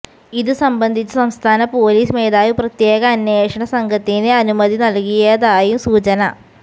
ഇത് സംബന്ധിച്ച് സംസ്ഥാന പൊലീസ് മേധാവി പ്രത്യേക അന്വേഷണ സംഘത്തിന് അനുമതി നൽകിയതായും സൂചന